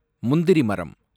முந்திரி மரம்